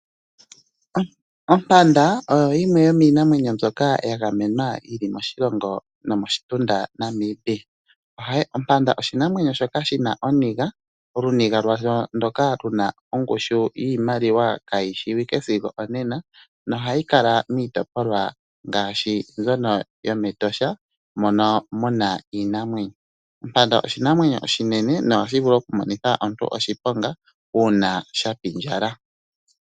Ompanda oyo yimwe yomiinamwenyo mbyoka ya gamenwa yili moshilongo nomoshitunda Namibia. Ompanda oshinamwenyo shoka shina oniga, oluniga lwasho ndoka luna ongushu yiimaliwa kayi shiwike sigo onena nohayi kala miitopolwa ngaashi mbyono yomEtosha mono muna iinamwenyo. Ompanda oshinamwenyo oshinene nohashi vulu okumonitha omuntu oshiponga uuna shapindjala.